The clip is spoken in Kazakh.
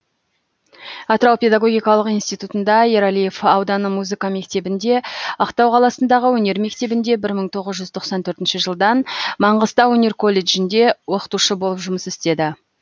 атырау педогогикалық институтында ералиев ауданы музыка мектебінде ақтау қаласындағы өнер мектебінде бір мың тоғыз жүз тоқсан төртінші жылдан маңғыстау өнер колледжінде оқытушы болып жұмыс істеді